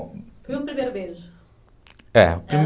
Bom... E o primeiro beijo?